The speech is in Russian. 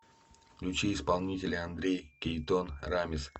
включи исполнителя андрей кейтон рамис